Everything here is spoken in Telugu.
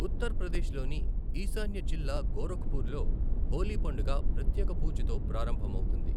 ఉత్తర ప్రదేశ్లోని ఈశాన్య జిల్లా గోరఖ్పూర్ లో హోలీ పండుగ ప్రత్యేక పూజతో ప్రారంభమవుతుంది.